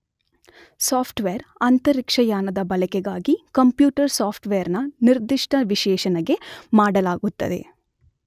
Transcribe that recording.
soft wear , ಅಂತರಿಕ್ಷಯಾನದ ಬಳಕೆಗಾಗಿ computer software ನ ನಿರ್ದಿಷ್ಟ ವಿಶ್ಲೇಷಣೆ ಮಾಡಲಾಗುತ್ತದೆ